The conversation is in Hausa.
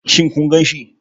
Shin kun ganshi?